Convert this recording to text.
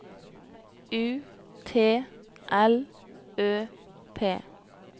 U T L Ø P